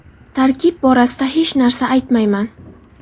Tarkib borasida hech narsa aytmayman.